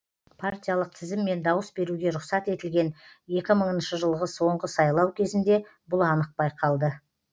партиялық тізіммен дауыс беруге рұқсат етілген екі мыңыншы жылғы соңғы сайлау кезінде бұл анық байқалды